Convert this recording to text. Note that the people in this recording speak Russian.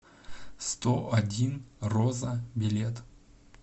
сто один роза билет